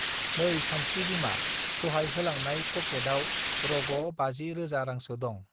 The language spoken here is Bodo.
नै सानस्रि बिमा दहाय होलांनाय पॅकेट आव रग बाजि रोजा रांसो दं